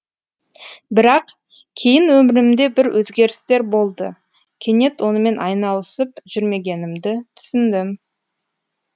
бірақ кейін өмірімде бір өзгерістер болды кенет онымен айналысып жүрмегенімді түсіндім